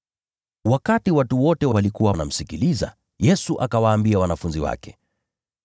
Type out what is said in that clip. Wakati watu wote walikuwa wanamsikiliza, Yesu akawaambia wanafunzi wake,